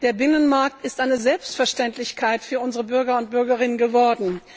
Der Binnenmarkt ist eine Selbstverständlichkeit für unsere Bürgerinnen und Bürger geworden.